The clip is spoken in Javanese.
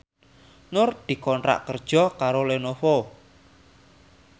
Nur dikontrak kerja karo Lenovo